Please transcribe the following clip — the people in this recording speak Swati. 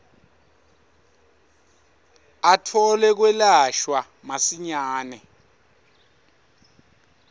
atfole kwelashwa masinyane